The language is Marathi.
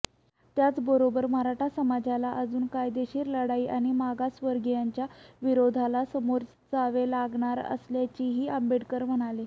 त्याचबरोबर मराठा समाजाला अजून कायदेशीर लढाई आणि मागासवर्गीयांच्या विरोधाला सामोरे जावे लागणार असल्याचेही आंबेडकर म्हणाले